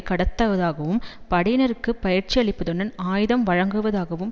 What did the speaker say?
கடத்துவதாகவும் படையினருக்கு பயிற்சியளிப்பதுடன் ஆயுதம் வழங்குவதாகவும்